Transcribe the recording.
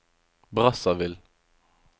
Brazzaville